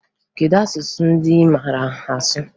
Kedu asụsụ ndị ị maara asụ?